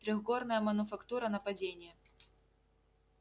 трехгорная мануфактура нападение